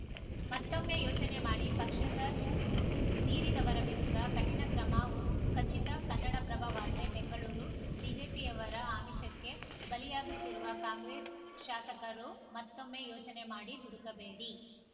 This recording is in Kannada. ಮತ್ತೊಮ್ಮೆ ಯೋಚನೆ ಮಾಡಿ ಪಕ್ಷದ ಶಿಸ್ತು ಮೀರಿದವರ ವಿರುದ್ಧ ಕಠಿಣ ಕ್ರಮ ಖಚಿತ ಕನ್ನಡಪ್ರಭ ವಾರ್ತೆ ಬೆಂಗಳೂರು ಬಿಜೆಪಿಯವರ ಆಮಿಷಕ್ಕೆ ಬಲಿಯಾಗುತ್ತಿರುವ ಕಾಂಗ್ರೆಸ್‌ ಶಾಸಕರು ಮತ್ತೊಮ್ಮೆ ಯೋಚನೆ ಮಾಡಿ ದುಡುಕಬೇಡಿ